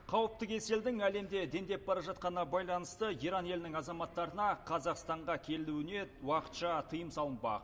қауіпті кеселдің әлемде дендеп бара жатқанына байланысты иран елінің азаматтарына қазақстанға келуіне уақытша тыйым салынбақ